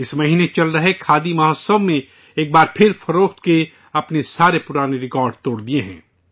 اس مہینے چل رہے کھادی مہوتسو نے ایک بار پھر فروخت کے اپنے سارے پرانے ریکارڈ توڑ دیے ہیں